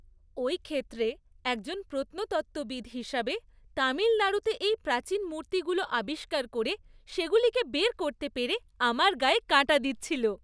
ওই ক্ষেত্রে একজন প্রত্নতত্ত্ববিদ হিসাবে, তামিলনাড়ুতে এই প্রাচীন মূর্তিগুলো আবিষ্কার করে সেগুলোকে বের করতে পেরে আমার গায়ে কাঁটা দিচ্ছিল।